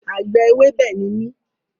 Àgbẹ̀ ewébẹ̀ ni mí